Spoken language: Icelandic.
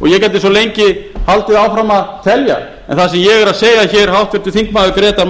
og ég gæti svo lengi haldið áfram að telja en það sem ég er að segja háttvirtir þingmenn grétar mar